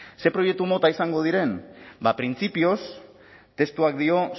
ze proiektu mota izango diren ba printzipioz testuak dio